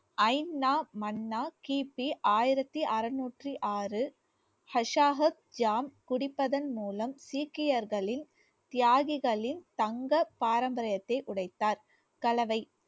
கிபி ஆயிரத்தி அறுநூற்றி ஆறு ஹஷாகத் குடிப்பதன் மூலம் சீக்கியர்களின் தியாகிகளின் தங்க பாரம்பரியத்தை உடைத்தார் கலவை